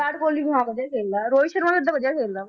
ਵਿਰਾਟ ਕੋਹਲੀ ਬੜਾ ਵਧੀਆ ਖੇਲਦਾ ਹੈ ਰੋਹਿਤ ਸ਼ਰਮਾ ਵੀ ਓਦਾਂ ਵਧੀਆ ਖੇਲਦਾ ਵਾ